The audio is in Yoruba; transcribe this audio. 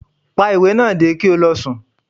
Pa iwe naa ki o lọ sùn!